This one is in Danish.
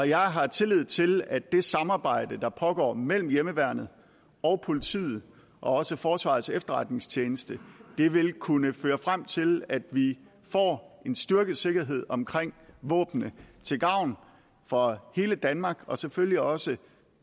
jeg har tillid til at det samarbejde der pågår mellem hjemmeværnet og politiet og også forsvarets efterretningstjeneste vil kunne føre frem til at vi får en styrket sikkerhed omkring våbnene til gavn for hele danmark og selvfølgelig også